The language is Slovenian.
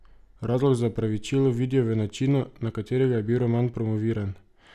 Razlog za opravičilo vidijo v načinu, na katerega je bil roman promoviran.